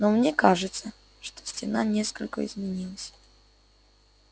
но мне кажется что стена несколько изменилась